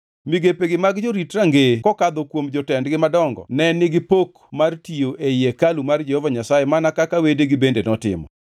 Migepegi mag jorit rangeye kokadho kuom jotendgi madongo ne nigi pok mar tiyo ei hekalu mar Jehova Nyasaye mana kaka wedegi bende notimo.